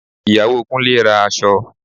Ìyàwó Kúnlé ra aṣọ